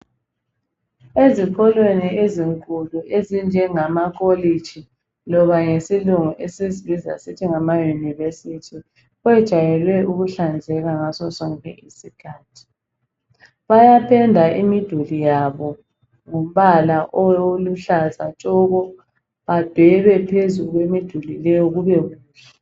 Ezikolweni ezinkulu ezinjengama kolitshi loba ngesilungu esizibiza sisithi ngamaYunivesithi kwejayelwe ukuhlanzeka ngaso sonke isikhathi bayapenda imiduli yabo ngombala oluhlaza tshoko badwebe phezu kwemiduli leyo kube kuhle.